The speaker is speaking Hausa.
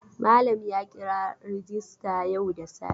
Malam ya kira rajista yau da safe.